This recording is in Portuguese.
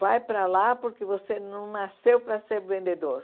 Vai para lá porque você não nasceu para ser vendedor.